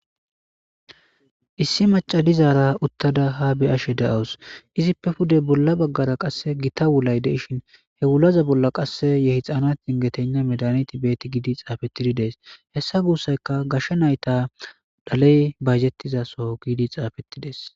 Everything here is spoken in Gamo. Issi macalizaara uttada ha biashe de'awus izippe pude bolla baggara qasse gita wulay deishin he wulaza bolla qasse yehi xaana ingetenna medani tibeti giidi xaafetidi dees hessa guussayka gashshe nayta daley bayjettizaso giidi xaafettides.